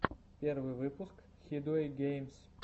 первый выпуск хидуэйгеймс